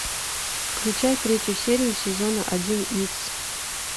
включай третью серию сезона один икс